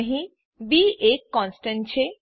અહીં બી એક કોન્સટન્ટ છે